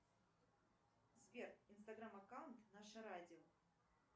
сбер инстаграм аккаунт наше радио